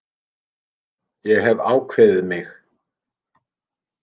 Ég hef ákveðið mig.